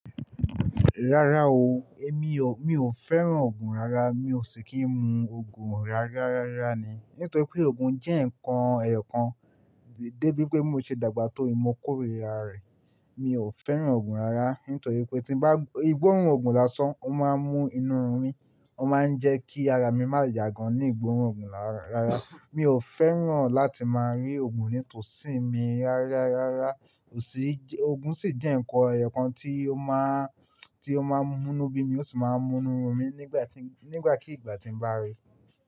Rárá o, èmi o, mi ò fẹ́ràn òògùn rárá. Mi ò sì kí ń mu òògùn rarárá ní. Nítorí pé òògùn jẹ́ ǹkan ẹyọ kan, dé bí pé mo ṣe dàgbà tó, mo kórìíra rẹ̀. Mi ò fẹ́ràn òògùn rárá, nítorí pé tí bá, ìgbóòrún òògùn la san, ó máa ń mú inú run mí, ó máa ń jẹ́ kí ara mi má ya gan ní ìgbóòrún òògùn rárá. Mi ò fẹ́ràn láti máa rí òògùn nítòsí mi rárarará, ò sí, òògùn sì jẹ́ ǹkan ẹyọ kan tí ó máa, tí ó máa ń mú níbí mi, ó sì máa ń mú inú run mí nígbà tí, nígbàkí ìgbà tí mo bá ríi.